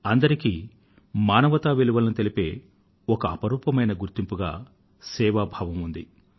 అందరికీ మానవత విలువలను తెలిపే ఒక అపురూపమైన గుర్తింపుగా సేవాభావం ఉంది